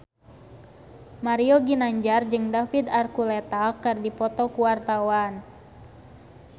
Mario Ginanjar jeung David Archuletta keur dipoto ku wartawan